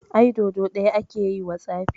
Ai Dodo ɗaya ake yiwa tsafi.